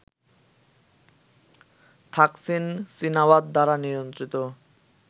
Thaksin Shinawatra দ্বারা নিয়ন্ত্রিত